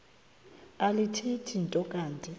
alithethi nto kanti